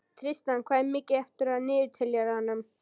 Tristana, hvað er mikið eftir af niðurteljaranum?